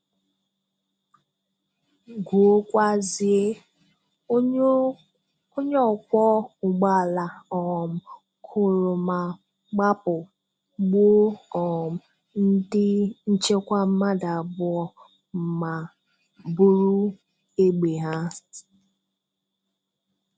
Guokwazie: onye okwo ụgbọala um kụrụ ma gbapụ, gbuo um ndị nchekwa mmadụ abụọ, ma bụrụ egbe ha